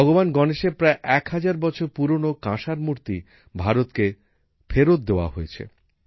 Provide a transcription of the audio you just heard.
ভগবান গণেশের প্রায় এক হাজার বছর পুরানো কাঁসার মুর্তি ভারতকে ফেরত দেওয়া হয়েছে